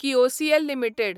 KIOCL limited